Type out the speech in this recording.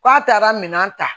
K'a taara minɛn ta